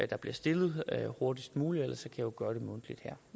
der bliver stillet hurtigst muligt ellers kan jo gøre det mundtligt her